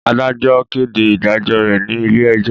Adajọ kede idajọ re ni ile-ẹjo